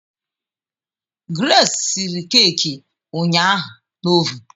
Grace siri keeki ụnyaahụ na ovun